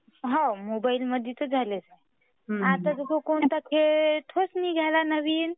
हो मोबाईल मध्ये तर झाला आहे आता तोच कोणता नवीन गमे.